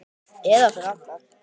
Eða fyrir alla.